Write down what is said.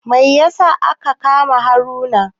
Mai yasa aka kama Haruna?